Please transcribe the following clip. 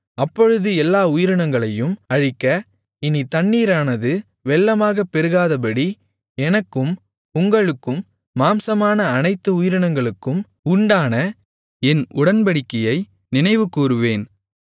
அப்பொழுது எல்லா உயிரினங்களையும் அழிக்க இனி தண்ணீரானது வெள்ளமாகப் பெருகாதபடி எனக்கும் உங்களுக்கும் மாம்சமான அனைத்து உயிரினங்களுக்கும் உண்டான என் உடன்படிக்கையை நினைவுகூருவேன்